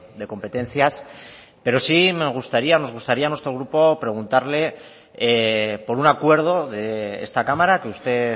de competencias pero sí me gustaría nos gustaría a nuestro grupo preguntarle por un acuerdo de esta cámara que usted